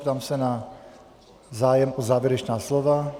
Ptám se na zájem o závěrečná slova.